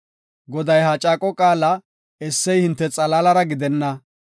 Goday ha caaqo qaala essey hinte xalaalara gidenna.